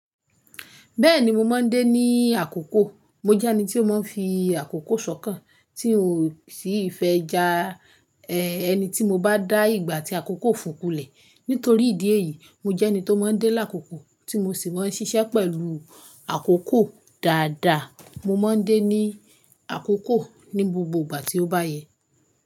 Bẹ́ẹ̀ni mo má ń dé ní àkókò. Mo jẹ́ ẹni tí ó má ń fi àkókò sọ́kàn, tí n ò sì fẹ́ ja ẹ ẹni tí mo bá dá ìgbà tí àkókò fùn kú lẹ̀. Nítorí ìdí èyí, mo jẹ́ ẹni tó má ń délàkókò tí mo sì mán ń ṣiṣẹ́ pẹ̀lú àkókò dáadáa. Mo má ń dé ní àkókò ní gbogbo ìgbà tí ó bá yẹ.